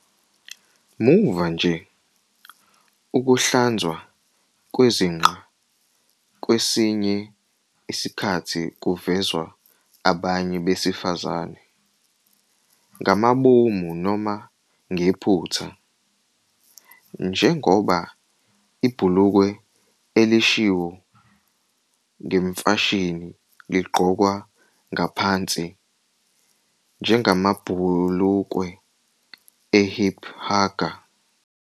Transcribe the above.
Muva nje, ukuhlanzwa kwezinqa kwesinye isikhathi kuvezwa abanye besifazane, ngamabomu noma ngephutha, njengoba ibhulukwe elishiwo ngemfashini ligqokwa ngaphansi, njengamabhulukwe e-hip-hugger.